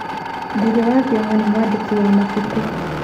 Ngugi wa Thiong'o nĩ mwandĩki wa mabuku.